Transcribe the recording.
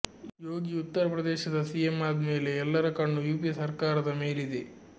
ಯೋಗಿ ಉತ್ತರ ಪ್ರದೇಶದ ಸಿಎಂ ಆದ್ಮೇಲೆ ಎಲ್ಲರ ಕಣ್ಣು ಯುಪಿ ಸರ್ಕಾರದ ಮೇಲಿದೆ